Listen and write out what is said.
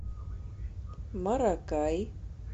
маракай